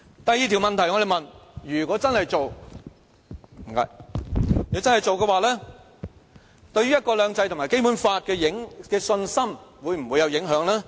我們問的第二條問題是，如果真的做，對"一國兩制"和《基本法》的信心會否有影響？